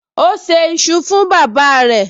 O ṣé iṣu fún bàbáa rẹ̀